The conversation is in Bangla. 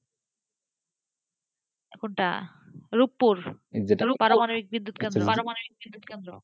কোনটা রুপপুর পারমাণবিক বিদ্যুৎ কেন্দ্র পারমাণবিক বিদ্যুৎ কেন্দ্র,